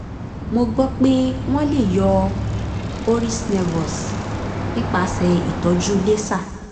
mo gbọ́ pé wọ́n lè yọ hori's nevus nípasẹ̀ ìtọ́jú laser